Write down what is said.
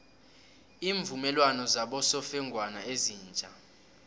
iimvumelwano zabosofengwana ezitja